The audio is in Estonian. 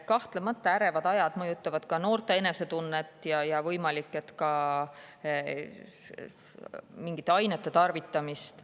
Kahtlemata, ärevad ajad mõjutavad ka noorte enesetunnet ja võimalik, et ka mingite ainete tarvitamist.